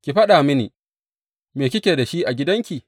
Ki faɗa mini, me kike da shi a gidanki?